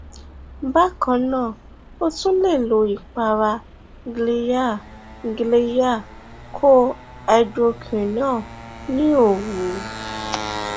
bákan náà o tún lè lo ìpara glyaha glyaha koj hydroquinone ní òru